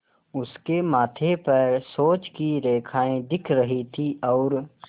उसके माथे पर सोच की रेखाएँ दिख रही थीं और